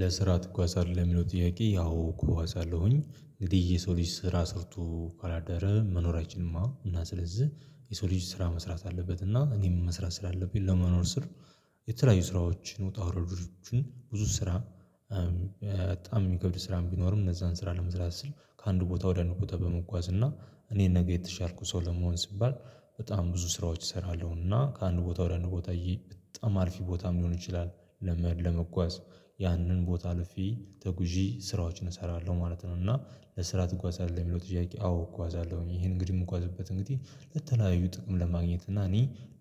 ለስራ ትጓዛለህ ለሚለው ጥያቄ? አዎ እጓዛአለሁኝ እንግዲህ የሰው ልጅ ስራ ሰርቶ ካላደረ መኖራችንማ እና ስለዚህ የሰው ልጅ ስራ መስራት አለበት እና እኔ መስራት ስላለብኝ ለመኖር ስል። የተለያዩ ስራዎችን ውጣ ውረዶችን ብዙ ስራ በጣም ሚከብድ ስራም ቢኖርም እነዛን ስራ ለመስራት ስል ከአንድ ቦታ ወደ አንድ ቦታ በመጓዝ እና እኔን ነገ የተሻልኩ ሰው ለመሆን ስባል በጣም ብዙ ስራዎች እሰራለሁና ከአንድ ቦታ ወደ አንድ ቦታ በጣም አሪፍ ቦታም ሊሆን ይችላል። ለመጓዝ ያንን ቦታ አልፌ ተጉዢ ስራዎችን እሰራለሁ ማለት ነው። እና ለስራ ትጓዛለህ ለሚለው ጥያቄ? አዎ እጓዛለሁኝ ይሄን እንግዲህ የምንኳዝበት እንግዲህ ለተለያዩ ጥቅም ለማግኘት እና እኔ